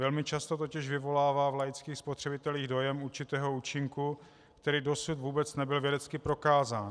Velmi často totiž vyvolává v laických spotřebitelích dojem určitého účinku, který dosud vůbec nebyl vědecky prokázán.